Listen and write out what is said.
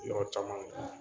Yɔrɔ caman